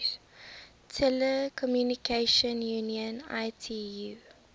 telecommunication union itu